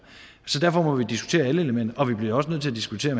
så derfor må vi diskutere alle elementer og vi bliver også nødt til at diskutere